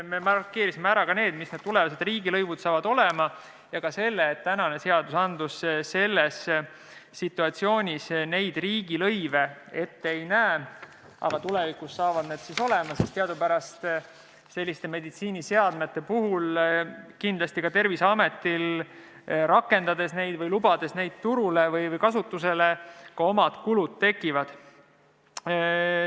Me markeerisime ära ka selle, millised need tulevased riigilõivud saavad olema, ja ka selle, et tänane seadus selles situatsioonis riigilõive ette ei näe, aga tulevikus saavad need olema, sest teadupärast selliste meditsiiniseadmete puhul kindlasti ka Terviseametil, lubades neid turule või kasutusele, omad kulud tekivad.